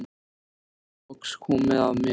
Svo var loks komið að mér.